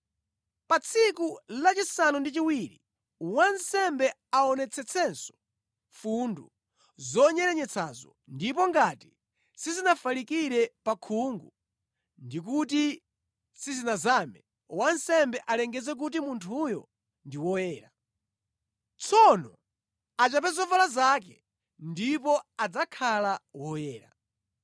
Pa tsiku lachisanu ndi chiwiri wansembe aonetsetsenso mfundu zonyerenyetsazo ndipo ngati sizinafalikire pa khungu ndi kuti sizinazame, wansembe alengeze kuti munthuyo ndi woyera. Tsono achape zovala zake, ndipo adzakhala woyera.